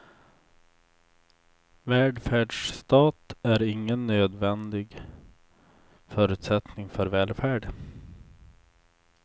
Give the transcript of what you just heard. Välfärdsstat är ingen nödvändig förutsättning för välfärd.